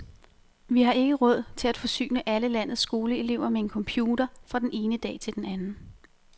Vi har ikke råd til at forsyne alle landets skoleelever med en computer fra den ene dag til den anden.